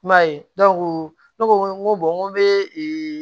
I m'a ye ne ko n ko n ko bee